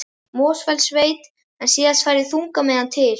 Mosfellssveit, en síðan færðist þungamiðjan til